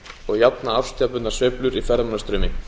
og jafna árstíðabundnar sveiflur í ferðamannastraumi